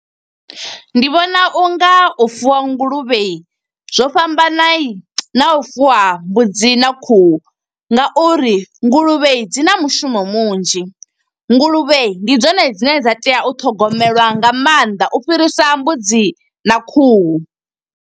Ndi vhona unga u fuwa nguluvhe, zwo fhambanani na u fuwa mbudzi na khuhu. Nga uri nguluvhe dzi na mushumo munzhi, nguluvhe ndi dzone dzine dza tea u thogomelwa nga maanḓa. U fhirisa mbudzi na khuhu.